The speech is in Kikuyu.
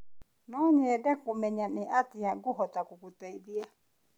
No nyende kũmenya nĩ atĩa ngũhota gũgũteithia.